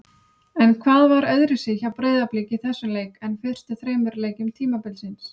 En hvað var öðruvísi hjá Breiðablik í þessum leik en fyrstu þremur leikjum tímabilsins?